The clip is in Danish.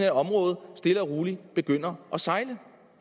at området stille og roligt begynder at sejle